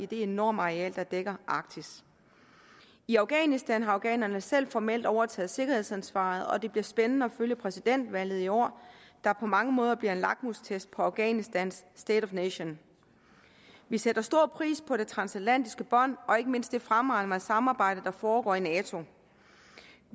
det enorme areal der dækker arktis i afghanistan har afghanerne selv formelt overtaget sikkerhedsansvaret og det bliver spændende at følge præsidentvalget i år der på mange måder bliver en lakmustest på afghanistans state of the nation vi sætter stor pris på det transatlantiske bånd og ikke mindst det fremragende samarbejde der foregår i nato